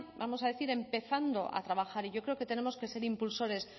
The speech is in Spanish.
vamos a decir empezando a trabajar y yo creo que tenemos que ser impulsores